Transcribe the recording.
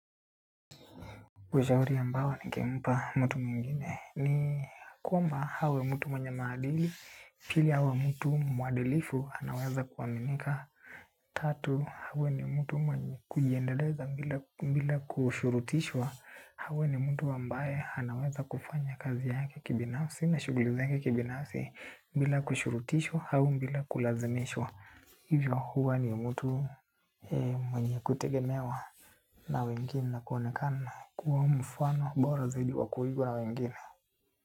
Ushauri ambao ningempa mtu mwingine ni kwamba awe mtu mwenye maadili pili awe mtu mwadilifu anaweza kuaminika. Tatu, awe ni mtu mwenye kujiendeleza bila kushurutishwa awe ni mtu ambaye anaweza kufanya kazi yake kibinafsi na shughuli zake kibinafsi bila kushurutishwa au bila kulazimishwa. Hivyo huwa ni mtu mwenye kutegemewa. Na wengine na kuonekana kuwa mfano bora zaidi wa kuigwa na wengine.